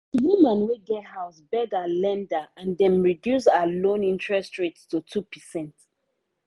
the woman wey get house beg her lender and dem reduce her loan interest rate to 2%.